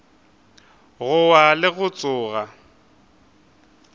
go wa le go tsoga